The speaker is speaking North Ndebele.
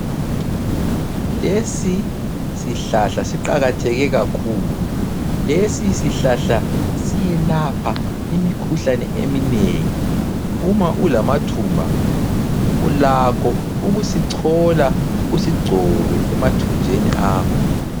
Lesi sihlahla siqakatheke kakhulu. Lesi sihlahla siyelapha imikhuhlane eminengi ,uma ulamathumba ulakho ukusichola usigcobe emathunjeni akho.